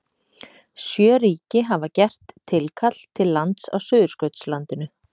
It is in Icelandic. Sjö ríki hafa gert tilkall til lands á Suðurskautslandinu.